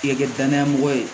K'i kɛ danaya mɔgɔ ye